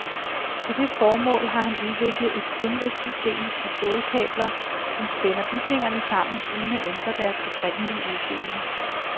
Til det formål har han udviklet et sindrigt system af stålkabler, som spænder bygningerne sammen uden at ændre deres oprindelige udseende.